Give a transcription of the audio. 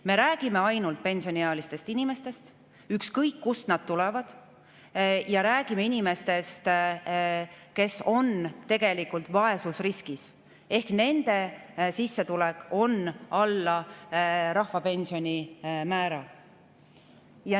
Me räägime ainult pensioniealistest inimestest, ükskõik kust nad tulevad, ja räägime inimestest, kes on vaesusriskis, nende sissetulek on alla rahvapensioni määra.